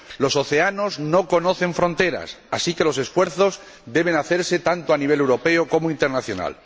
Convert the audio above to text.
Los océanos no conocen fronteras, así que los esfuerzos deben hacerse tanto a nivel europeo como a nivel internacional.